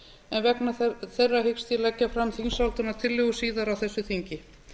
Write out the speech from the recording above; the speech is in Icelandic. en vegna þeirra hyggst ég leggja fram þingsályktunartillögu síðar á þessu þingi